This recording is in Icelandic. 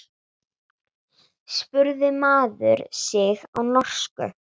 spurði maður sig á norsku.